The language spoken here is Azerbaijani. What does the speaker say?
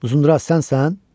Uzunduraz sənsən?